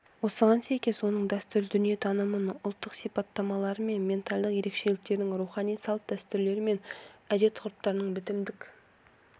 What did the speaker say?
осыған сәйкес оның дәстүрлі дүниетанымының ұлттық сипаттамалары мен ментальдық ерекшеліктерінің рухани салт-дәстүрлері мен әдет ғұрыптарының бітімдік